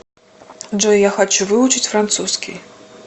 джой я хочу выучить французский